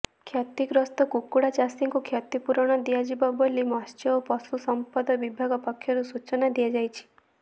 କ୍ଷତିଗ୍ରସ୍ତ କୁକୁଡ଼ା ଚାଷୀଙ୍କୁ କ୍ଷତିପୂରଣ ଦିଆଯିବ ବୋଲି ମତ୍ସ୍ୟ ଓ ପଶୁସମ୍ପଦ ବିଭାଗ ପକ୍ଷରୁ ସୂଚନା ଦିଆଯାଇଛି